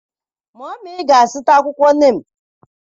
Mummy ga-azụta akwụkwọ Neem.